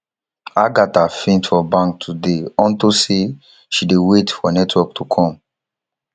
agatha faint for bank today unto say she dey wait for network to come